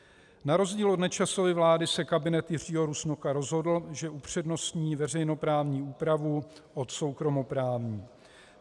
Na rozdíl od Nečasovy vlády se kabinet Jiřího Rusnoka rozhodl, že upřednostní veřejnoprávní úpravu od soukromoprávní.